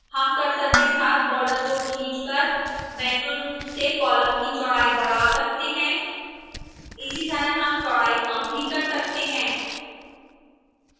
हम cursor के साथ border को खींच कर मैन्युअल रूप से column की चौड़ाई बढ़ा सकते हैं इसी तरह हम चौड़ाई कम भी कर सकते हैं